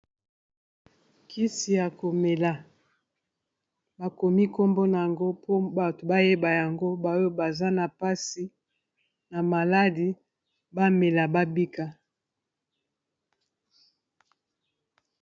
Kisi ya komela bakomi nkombona yango mpo bato bayeba yango baoyo baza na mpasi na maladi bamela babika.